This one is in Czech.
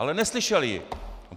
Ale neslyšel ji!